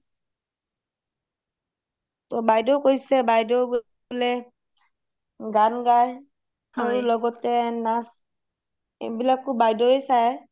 টোহ বাইদেউ কৈছে বাইদেউ বোলে গান গায় লগতে নাচ এইবিলাকয়ো বাইদেউয়ে চাই